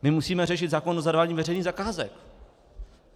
My musíme řešit zákon o zadávání veřejných zakázek.